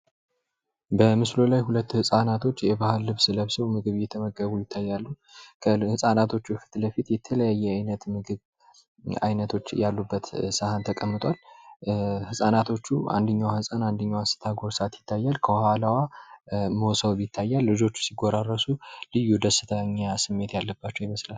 በማስሉ ላይ ሁለት ህፃናቶች የባህል ልብስ ለብሰው ምግብ እየተመገቡ ይታያሉ። ከ ህጻናቶች ወደፊት የተለያየ ዓይነት ምግብ አይነቶች እያሉ በተስፋ ተቀምጧል ህፃናቶች ዋንኛው ሕፃን አንደኛው አስቸኳይ ሰዓት ይታያል ከኋላዋ ሞሰብ ይታያል። ልጆቹ ሲፈራርሱ ልዩ ደስተኛ ስሜት የለም ይመስላል።